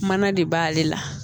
Mana de b'ale la